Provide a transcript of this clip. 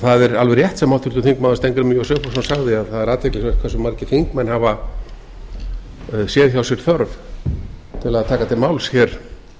það er alveg rétt sem háttvirtur þingmaður steingrímur j sigfússon sagði að það er athyglisvert hversu margir þingmenn hafa séð hjá sér þörf til að taka til máls hér